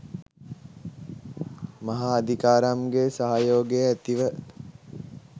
මහා අදිකාරම් ගේ සහයෝගය ඇතිව